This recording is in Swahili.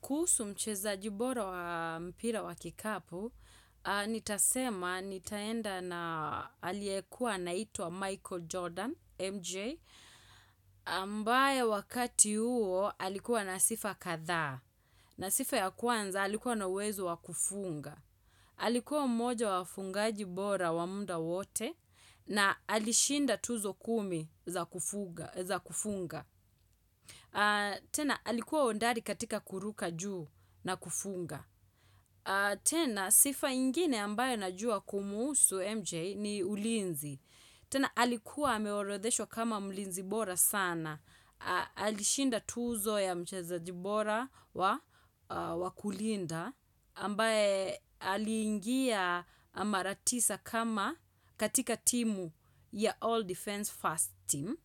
Kuhusu mchezaji bora wa mpira wa kikapu, nitasema nitaenda na aliyekuwa anaitwa Michael Jordan, MJ, ambaye wakati huo alikuwa na sifa kadhaa, na sifa ya kwanza alikuwa na uwezo wa kufunga, alikuwa mmoja wa wafungaji bora wa muda wote, na alishinda tuzo kumi za kufunga. Tena, alikuwa hodari katika kuruka juu na kufunga tena, sifa ingine ambayo najua kumhusu MJ ni ulinzi tena, alikuwa ameorodheshwa kama mlinzi bora sana Alishinda tuzo ya mchezaji bora wa kulinda ambaye aliingia mara tisa kama katika timu ya All Defense First team